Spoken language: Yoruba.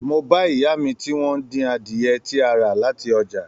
Mó bá ìyá mí tí wọn n dín adiẹ tí a rà láti ọjà.